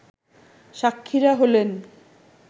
সাক্ষীরা হলেন